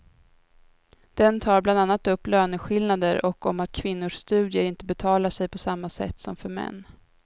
Den tar bland annat upp löneskillnader och om att kvinnors studier inte betalar sig på samma sätt som för män.